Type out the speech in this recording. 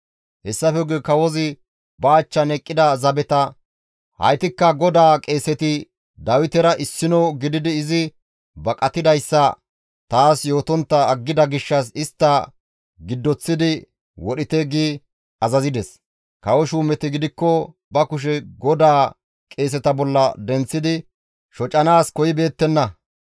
Hessafe guye kawozi ba achchan eqqida zabeta, «Haytikka GODAA qeeseti Dawitera issino gididi izi baqatidayssa taas yootontta aggida gishshas istta giddoththi wodhite» gi azazides. Kawo shuumeti gidikko ba kushe GODAA qeeseta bolla denththidi shocanaas koyibeettenna.